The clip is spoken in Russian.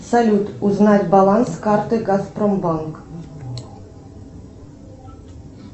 салют узнать баланс карты газпром банк